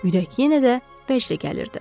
Ürək yenə də vəcdə gəlirdi.